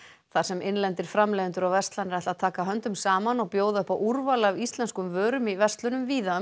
þar sem innlendir framleiðendur og verslanir ætla að taka höndum saman og bjóða upp á úrval af íslenskum vörum í verslunum víða